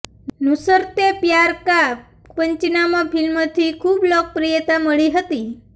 નુસરતે પ્યાર કા પંચનામા ફિલ્મથી ખૂબ લોકપ્રિયતા મળી હતી